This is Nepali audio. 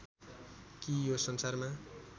कि यो संसारमा